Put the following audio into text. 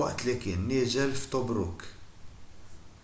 waqt li kien niżel f’tobruk